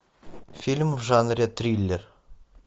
фильм в жанре триллер